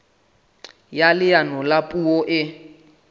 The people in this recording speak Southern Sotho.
ya leano la puo e